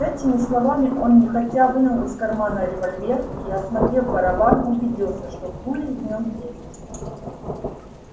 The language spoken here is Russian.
с этими словами он нехотя вынул из кармана револьвер и осмотрев барабан убедился что пули в нём есть